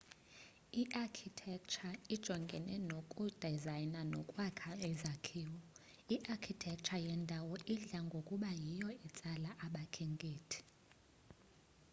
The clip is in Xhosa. i-architecture ijongene nokudizayna nokwakha izakhiwo i-archictecture yendawo idla ngokuba yiyo etsala abakhenkethi